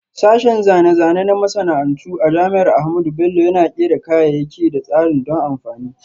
Sashen Zane-zane na Masana'antu a Jami'ar Ahmadu Bello Yana Kera kayayyaki da tsarin don amfani.